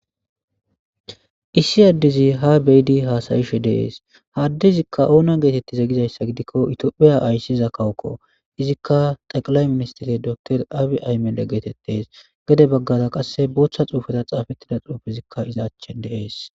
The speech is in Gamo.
Issi adezi ha be'idi hasayashe des adezika ona getetize gidayisa gidiko tophiya ayisida kawoko izika xeqilay ministire doctor abiy ahmede getetes gede baggara qasse botta xufen xafettida xufezika a achan de'es.